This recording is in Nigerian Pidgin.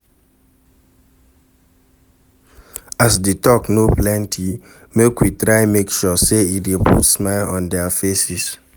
To Follow your family or neighbour talk small mean say you no go talk for long